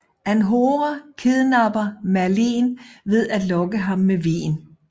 Anhora kidnapper Merlin ved at lokke ham med vin